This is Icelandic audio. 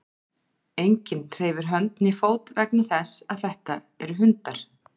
enginn hreyfir hönd né fót vegna þess að þetta eru hundar